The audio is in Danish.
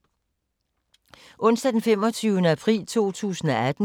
Onsdag d. 25. april 2018